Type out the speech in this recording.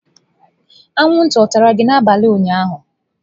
Anwụnta ọ tara gị n'abalị ụnyaahụ?